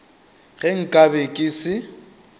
ge nka be ke se